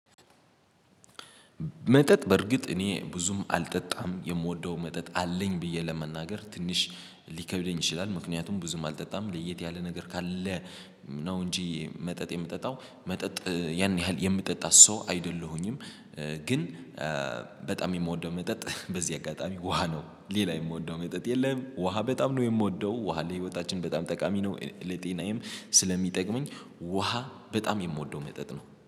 መጠጥ በርግጥ እኔ ብዙም አልጠጣም የምወደው መጠጥ አለኝ ብዬ ለመናገር ትንሽ ሊከብደኝ ይችላል ምክንያቱም ብዙም አልጠጣም ለየት ያለ ነገር ካለ ነው እንጂ መጠጥ የምጠጣው መጠጥ ያን ያህል የምጠጣ ሰው አይደለሁኝም። ግን። በጣም የምወደው መጠጥ በዚህ አጋጣሚ ውሃ ነው ሌላ የምወደው መጠጥ የለም። ውሃ በጣም ነው የምወደው ውሃ ለህይወታችን በጣም ጠቃሚ ነው። ለጤናዬም ስለሚጠቅመኝ ውሃ በጣም የምወደው መጠጥ ነው